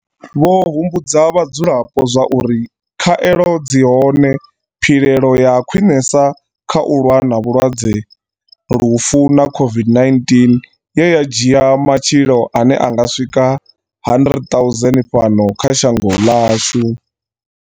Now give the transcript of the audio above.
Vho humbudza vha dzulapo zwauri khaelo ndi dzone philelo ya khwiṋesa kha u lwa na vhulwadze, lufu na COVID-19 ye ya dzhia matshilo ane a nga swika 100 000 fhano kha shango ḽashu.